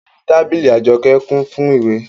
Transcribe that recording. Orí tábìlì Àjọkẹ́ kún fún ìwé